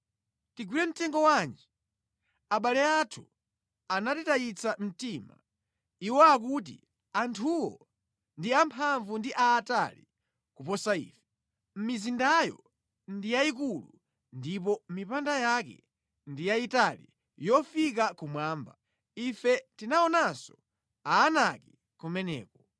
Tigwire mtengo wanji? Abale athu anatitayitsa mtima. Iwo akuti, ‘Anthuwo ndi amphamvu ndi aatali kuposa ife, mizindayo ndi yayikulu ndipo mipanda yake ndi yayitali yofika kumwamba. Ife tinaonanso Aanaki kumeneko.’ ”